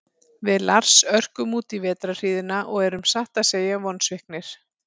Við Lars örkum útí vetrarhríðina og erum satt að segja vonsviknir.